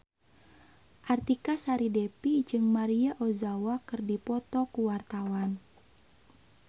Artika Sari Devi jeung Maria Ozawa keur dipoto ku wartawan